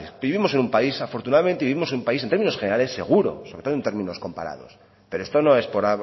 vivimos en un país afortunadamente vivimos en un país en términos generales seguro sobre todo en términos comparados pero esto no es por